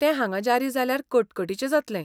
ते हांगा जारी जाल्यार कटकटीचें जातलें .